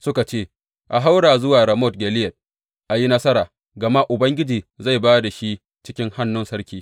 Suka ce, A haura zuwa Ramot Gileyad a yi nasara, gama Ubangiji zai ba da shi cikin hannun sarki.